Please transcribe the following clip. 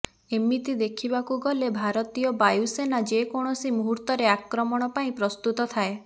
ଏମିତି ଦେଖିବାକୁ ଗଲେ ଭାରତୀୟ ବାୟୁସେନା ଯେକୌଣସି ମୁହୁର୍ତ୍ତରେ ଆକ୍ରମଣ ପାଇଁ ପ୍ରସ୍ତୁତ ଥାଏ